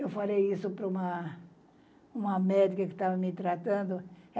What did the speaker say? Eu falei isso para uma uma médica que estava me tratando.